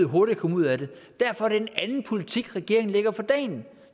hurtigt at komme ud af det derfor er det en anden politik regeringen lægger for dagen